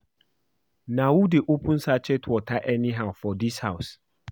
Na who dey open sachet water anyhow for dis house?